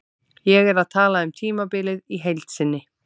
Ég er að tala um tímabilið í heild sinni.